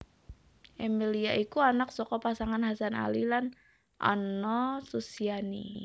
Emilia iku anak saka pasangan Hasan Ali lan Anna Susiani